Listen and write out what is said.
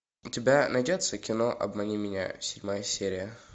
у тебя найдется кино обмани меня седьмая серия